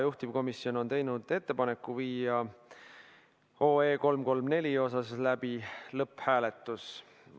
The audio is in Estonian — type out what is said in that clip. Juhtivkomisjon on teinud ettepaneku viia läbi 334 OE lõpphääletus.